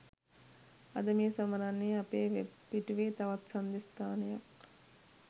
අද මේ සමරන්නේ අපේ වෙබ් පිටුවේ තවත් සංදිස්ථානයක්